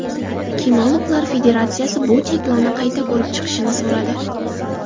Kinologlar federatsiyasi bu cheklovni qayta ko‘rib chiqishni so‘radi.